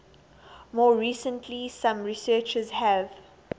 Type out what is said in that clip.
more recently some researchers have